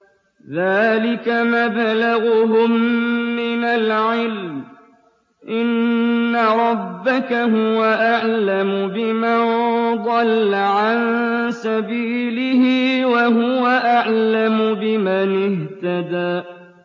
ذَٰلِكَ مَبْلَغُهُم مِّنَ الْعِلْمِ ۚ إِنَّ رَبَّكَ هُوَ أَعْلَمُ بِمَن ضَلَّ عَن سَبِيلِهِ وَهُوَ أَعْلَمُ بِمَنِ اهْتَدَىٰ